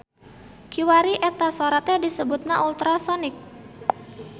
Kiwari eta sora teh disebutna ultrasonik.